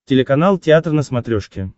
телеканал театр на смотрешке